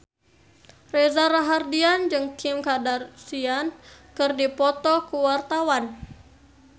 Reza Rahardian jeung Kim Kardashian keur dipoto ku wartawan